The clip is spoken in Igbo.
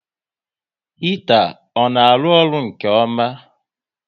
Hita ọ na arụ ọrụ nke ọma?